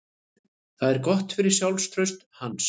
Það er gott fyrir sjálfstraust hans.